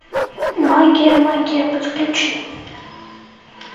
магия магия подключи